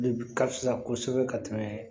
Ka fisa kosɛbɛ ka tɛmɛ